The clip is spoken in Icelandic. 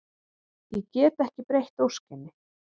Ég get ekki breytt óskinni.